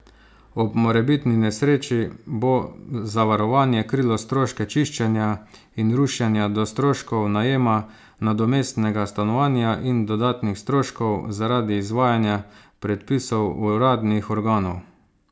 Ob morebitni nesreči bo zavarovanje krilo stroške čiščenja in rušenja do stroškov najema nadomestnega stanovanja in dodatnih stroškov zaradi izvajanja predpisov uradnih organov.